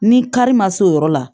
Ni kari ma s'o yɔrɔ la